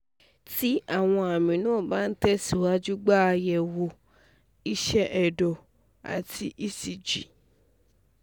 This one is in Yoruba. tí àwọn àmì náà bá ń ń tẹ̀síwájú gba àyẹ̀wò iṣẹ́ ẹ̀dọ̀ rẹ àti ecg